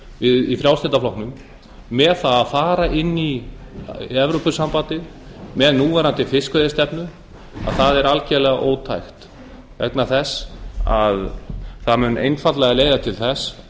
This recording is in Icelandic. við í frjálslynda flokknum með það að fara inn í evrópusambandið með núverandi fiskveiðistefnu að það er algerlega ótækt vegna þess að það mun einfaldlega leiða til þess